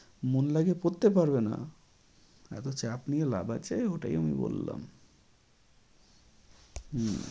মন লাগিয়ে পড়তে পারবে না। এতো চাপ নিয়ে লাভ আছে ওটাই আমি বললাম। হম